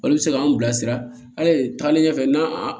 Olu bɛ se k'an bilasira hali taagalen ɲɛfɛ n'an